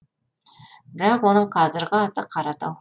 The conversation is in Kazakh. бірақ оның қазіргі аты қаратау